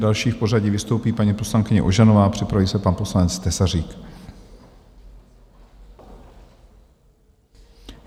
Další v pořadí vystoupí paní poslankyně Ožanová a připraví se pan poslanec Tesařík.